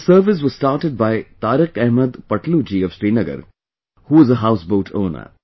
This service was started by Tariq Ahmad Patloo ji of Srinagar, who is a Houseboat Owner